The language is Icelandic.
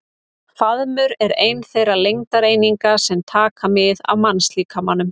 Faðmur er ein þeirra lengdareininga sem taka mið af mannslíkamanum.